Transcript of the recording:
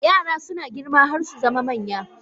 Yara suna girma har su zama manya